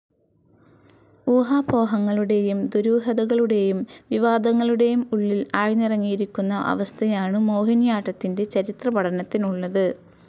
ഊഹാപോഹങ്ങളുടേയും ദുരൂഹതകളുടേയും, വിവാദങ്ങളുടേയും ഉള്ളിൽ ആഴ്‌ന്നിറങ്ങിയിരിക്കുന്ന അവസ്ഥയാണു മോഹിനിയാട്ടത്തിന്റെ ചരിത്രപഠനത്തിനുള്ളത്.